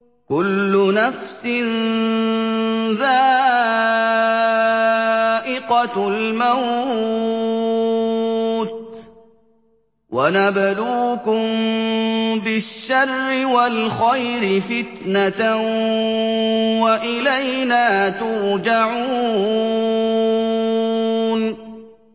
كُلُّ نَفْسٍ ذَائِقَةُ الْمَوْتِ ۗ وَنَبْلُوكُم بِالشَّرِّ وَالْخَيْرِ فِتْنَةً ۖ وَإِلَيْنَا تُرْجَعُونَ